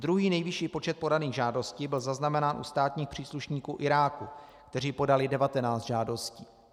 Druhý nejvyšší počet podaných žádostí byl zaznamenán u státních příslušníků Iráku, kteří podali 19 žádostí.